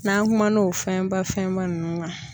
N'an kumana o fɛnba fɛnba nunnu kan.